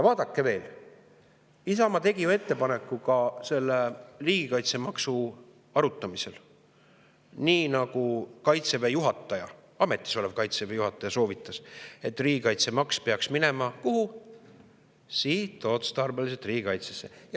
Vaadake veel: Isamaa tegi ju ettepaneku ka riigikaitsemaksu arutamisel, nii nagu ametis olev Kaitseväe juhataja soovitas, et riigikaitsemaks peaks minema sihtotstarbeliselt riigikaitsesse.